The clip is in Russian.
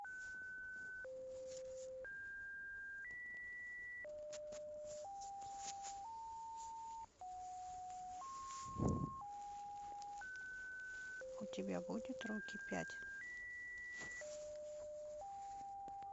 у тебя будет рокки пять